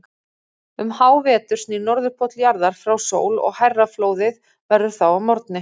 Um hávetur snýr Norðurpóll jarðar frá sól og hærra flóðið verður þá að morgni.